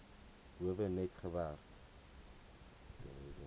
howe net gewerk